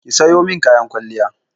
Ki sayo min kayan kwalliya!